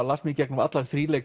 las mig í gegnum allan